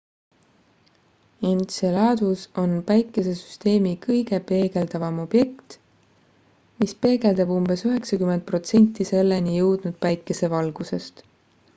enceladus on päikesesüsteemi kõige peegeldavam objekt mis peegeldab umbes 90 protsenti selleni jõudnud päikesevalgusest